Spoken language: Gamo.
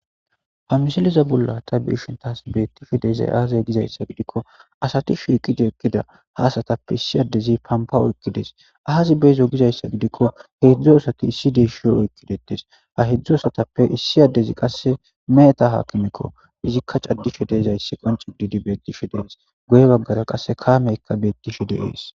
ha misiliza bollata biishin taas beettifidezay aaze gizayssa gidikko asati shiiqida ekkida haasatappe issi addezi pampa oykkides aazi beezo gizayssa gidikko heedzdzu asati issi deeshiyo oykkidetes ha hedzdzu asatappe issi addezi qasse meeta haakimikko izikka caddishe deezayssi qonci didi beetishe dees goye baggara qasse kameyka beettishe de ees